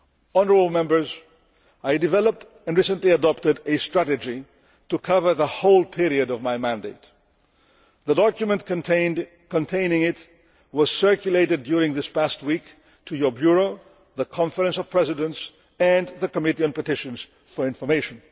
Honourable Members, I developed and recently adopted a strategy to cover the whole period of my mandate. The document containing it was circulated during this past week to your Bureau, the Conference of Presidents and the Committee on Petitions for information.